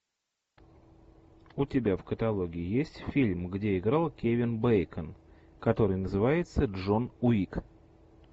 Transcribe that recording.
у тебя в каталоге есть фильм где играл кевин бейкон который называется джон уик